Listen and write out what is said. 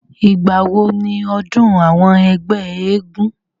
ìgbà wo ni ọdún àwọn ẹgbẹ́ eégún?